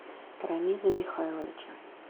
рамиза михайловича